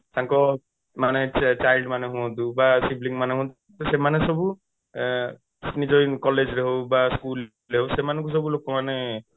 ତାଙ୍କ ମାନେ କିଏ child ମାନେ ହୁଅନ୍ତୁ sibling ମାନେ ହୁଅନ୍ତୁ ସେମାନେ ସବୁ 3ଆଁ ନିଜ college ରେ ହଉ ବା school ରେ ହଉ ସବୁ ଲୋକମାନେ